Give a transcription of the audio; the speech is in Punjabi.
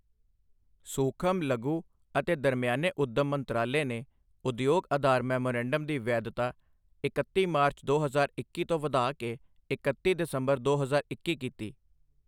ਸੂਖ਼ਮ, ਲਘੂ ਅਤੇ ਦਰਮਿਆਨੇ ਉੱਦਮ ਮੰਤਰਾਲੇ ਨੇ ਉਦਯੋਗ ਆਧਾਰ ਮੈਮੋਰੰਡਮ ਦੀ ਵੈਧਤਾ ਇਕੱਤੀ ਮਾਰਚ, ਦੋ ਹਜ਼ਾਰ ਇੱਕੀ ਤੋਂ ਵਧਾ ਕੇ ਇਕੱਤੀ ਦਸੰਬਰ, ਦੋ ਹਜ਼ਾਰ ਇੱਕੀ ਕੀਤੀ